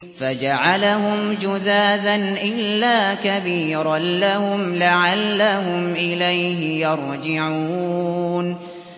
فَجَعَلَهُمْ جُذَاذًا إِلَّا كَبِيرًا لَّهُمْ لَعَلَّهُمْ إِلَيْهِ يَرْجِعُونَ